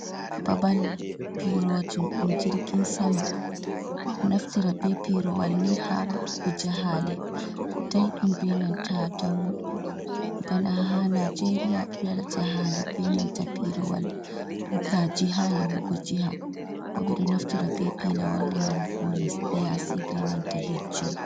Babal pirojum ɗum jirgin sama, ɓeɗo naftira be pirowal ni ha waɗugo jahale daiɗum benanta dammuɗum, bana ha naijeria bedo waɗa jahaale benanta pirowal, diga jiha yahugo jiha, bo ɓedo naftira be pilowar ya hugo les ɗe yasi, be nanta hijju.